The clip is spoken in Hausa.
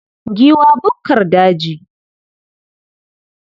Giwa bukkar daji.